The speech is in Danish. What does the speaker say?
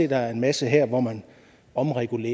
der er en masse her hvor man omregulerer